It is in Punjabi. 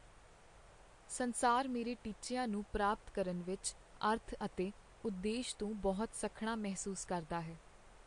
ਸੰਸਾਰ ਮੇਰੇ ਟੀਚਿਆਂ ਨੂੰ ਪ੍ਰਾਪਤ ਕਰਨ ਵਿੱਚ ਅਰਥ ਅਤੇ ਉਦੇਸ਼ ਤੋਂ ਬਹੁਤ ਸੱਖਣਾ ਮਹਿਸੂਸ ਕਰਦਾ ਹੈ।